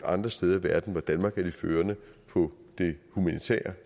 andre steder i verden hvor danmark er de førende på det humanitære